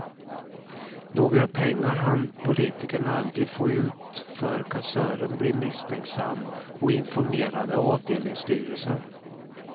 Några pengar hann politikern aldrig få ut för kassören blev misstänksam och informerade avdelningsstyrelsen.